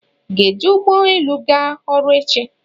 ị ga-eji ụgbọ elu ga ọrụ echi